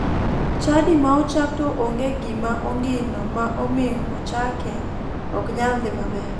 Chadi ma ochak to onge gima ongino ma omiyo ochake ok nyal dhi maber